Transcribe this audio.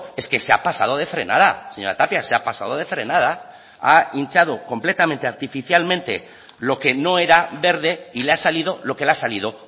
es que se ha pasado de frenada señora tapia se ha pasado de frenada ha hinchado completamente artificialmente lo que no era verde y le ha salido lo que le ha salido